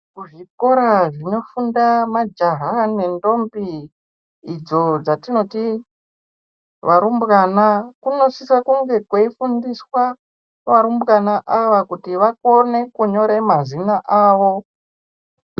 Kuzvikora zvinofundwa majaha nendombi, idzo dzatinoti varumbwana, kunosise kunge kweifundiswa ,varumbwana ava kuti vakone kunyora mazina avo.